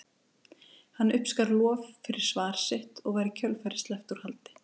Hann uppskar lof fyrir svar sitt og var í kjölfarið sleppt úr haldi.